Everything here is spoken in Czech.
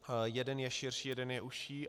Jeden je širší, jeden je užší.